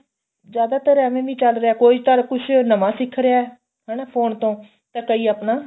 ਜਿਆਦਾਤਰ ਐਵੇ ਵੀ ਚੱਲ ਰਿਹਾ ਕੋਈ ਤਾਂ ਕੁੱਝ ਨਵਾਂ ਸਿੱਖ ਰਿਹਾ ਹਨਾ phone ਤੋਂ ਤੇ ਕਈ ਆਪਣਾ